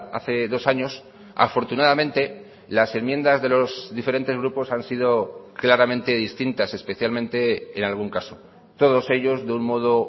hace dos años afortunadamente las enmiendas de los diferentes grupos han sido claramente distintas especialmente en algún caso todos ellos de un modo